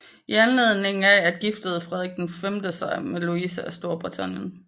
I anledning af at giftede Frederik V sig med Louise af Storbritannien